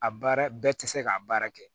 A baara bɛɛ tɛ se k'a baara kɛ